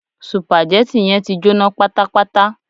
Sùpàgẹ́tì yẹn ti jóná pátápátá